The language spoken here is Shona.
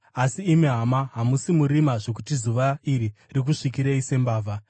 Asi imi, hama, hamusi murima zvokuti zuva iri rikusvikirei sembavha.